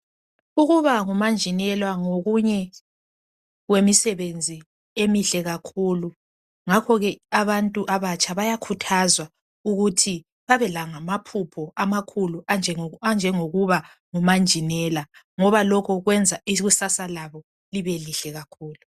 Ukuba ngimanjinela ngokunye kwemisebenzi emihle kakhulu ngakho ke abantu abatsha bayakhuthazwa ukuthi babelamaphupho amakhulu anjengokuba ngumanjinela ngoba lokho kwenza ikusasa labo libe lihle kakhulu